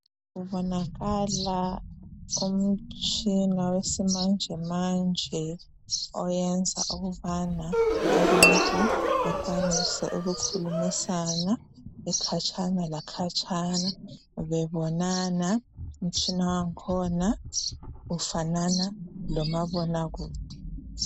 Kubonakala umtshina wesimanjemanje oyenza ukubana abantu bekwanise ukukhulumisana bekhatshana lakhatshana bebonana . Umtshina wakhona ufanana lomabonakude.